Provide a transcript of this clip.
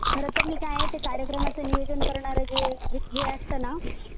खरं तर मी काय कार्यक्रमाचे नियोजन करणारे जे हे असतं ना